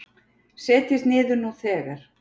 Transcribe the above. Setjist niður nú þegar